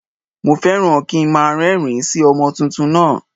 Mo fẹ́ràn kí nmá a rérìn- ín sí ọmọ tuntun náà